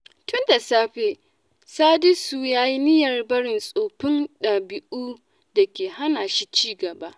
Tun da safe, Sadisu ya yi niyyar barin tsoffin dabi’un da ke hana shi ci gaba.